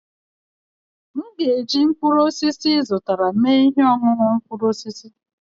m ga-eji mkpụrụ osisi ị zụtara mee ihe ọṅụṅụ mkpụrụ osisi